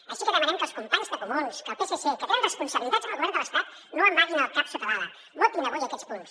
així que demanem que els companys de comuns del psc que tenen responsabilitats en el govern de l’estat no amaguin el cap sota l’ala votin avui aquests punts